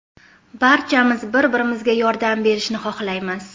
Barchamiz bir-birimizga yordam berishni xohlaymiz.